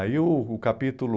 Aí o o capítulo...